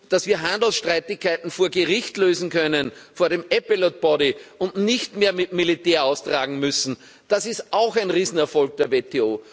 Dass wir Handelsstreitigkeiten vor Gericht lösen können, vor dem Appellate Body, und nicht mehr mit militärischen Mitteln austragen müssen, das ist auch ein Riesenerfolg der WTO.